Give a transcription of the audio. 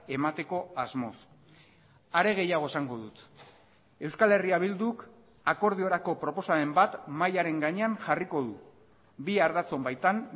emateko asmoz are gehiago esango dut euskal herria bilduk akordiorako proposamen bat mahiaren gainean jarriko du bi ardatzon baitan